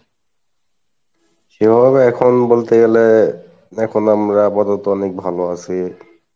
সেভাবে এখন বলতে গেলে এখন আমরা আপাতত অনেক ভালো আসি,